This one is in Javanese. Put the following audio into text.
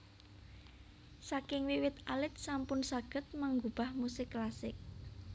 Saking wiwit alit sampun saged manggubah musik klasik